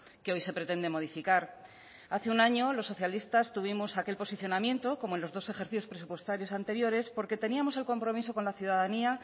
que hoy se pretende modificar hace un año los socialistas tuvimos aquel posicionamiento como en los dos ejercicios presupuestarios anteriores porque teníamos el compromiso con la ciudadanía